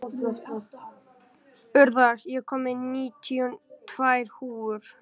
Urðar, ég kom með níutíu og tvær húfur!